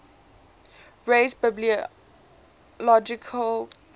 raise biological questions